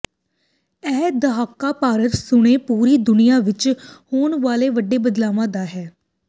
ਇਹ ਦਹਾਕਾ ਭਾਰਤ ਸਣੇ ਪੂਰੀ ਦੁਨੀਆ ਵਿਚ ਹੋਣ ਵਾਲੇ ਵੱਡੇ ਬਦਲਾਵਾਂ ਦਾ ਹੈ